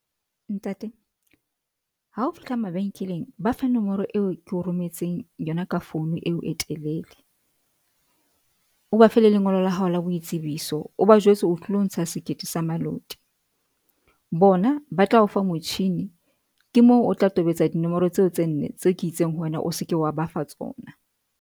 Ntate, ha o fihla mabenkeleng ba fe nomoro eo ke o rometseng yona ka phone eo e telele. O ba fe le lengolo la hao la boitsebiso, o ba jwetse o tlilo ntsha sekete sa maluti bona ba tla ofa motjhini. Ke moo o tla tobetsa dinomoro tseo tse nne tse ke itseng ho wena o se ke wa ba fa tsona.